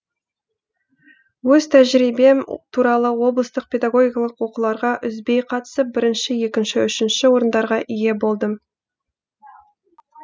өз тәжірибем туралы облыстық педагогикалық оқуларға үзбей қатысып бірінші екінші үшінші орындарға ие болдым